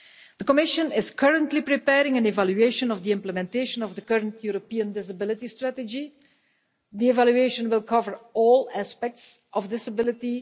The Commission is currently preparing an evaluation of the implementation of the current European Disability Strategy. The evaluation will cover all aspects of this ability.